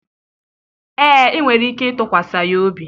ee, ị nwere ike ịtụkwasị ya obi